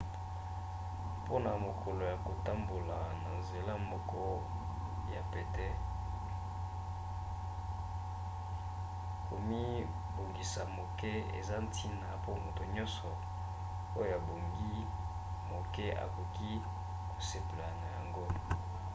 mpona mokolo ya kotambola na nzela moko ya pete komibongisa moke eza ntina pe moto nyonso oyo abongi moke akoki kosepela na yango